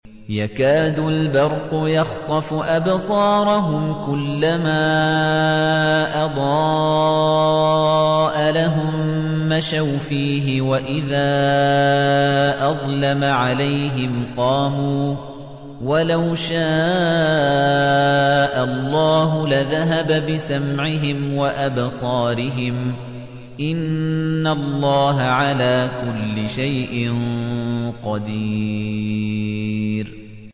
يَكَادُ الْبَرْقُ يَخْطَفُ أَبْصَارَهُمْ ۖ كُلَّمَا أَضَاءَ لَهُم مَّشَوْا فِيهِ وَإِذَا أَظْلَمَ عَلَيْهِمْ قَامُوا ۚ وَلَوْ شَاءَ اللَّهُ لَذَهَبَ بِسَمْعِهِمْ وَأَبْصَارِهِمْ ۚ إِنَّ اللَّهَ عَلَىٰ كُلِّ شَيْءٍ قَدِيرٌ